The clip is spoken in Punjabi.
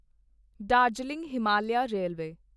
ਦਾਰਜੀਲਿੰਗ ਹਿਮਾਲਿਆਂ ਰੇਲਵੇ